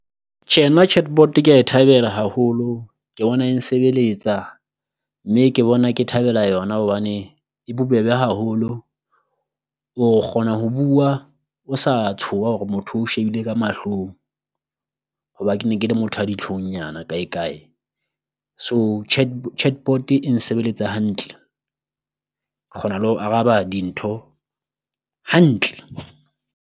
Tjhe nna chatbot kea e thabela haholo ke bona e nsebeletsa, mme ke bona ke thabela yona hobane e bobebe haholo. O kgona ho bua o sa tshoha hore motho o shebile ka mahlong hoba ke le motho a ditlhong nyana kae kae, so chatbot e nsebeletsa hantle ke kgona le ho araba dintho hantle.